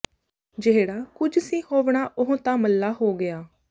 ਜਿਹੜਾ ਕੁੱਝ ਸੀ ਹੋਵਣਾ ਉਹ ਤਾਂ ਮੱਲਾ ਹੋ ਗਿਆ